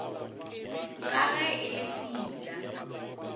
ka ge e le seila